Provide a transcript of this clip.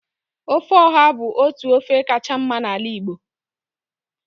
ofe oha bu otu ofe kacha mma na ala Igbo